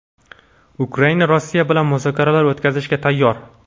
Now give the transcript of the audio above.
Ukraina Rossiya bilan muzokaralar o‘tkazishga tayyor.